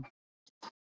Ernst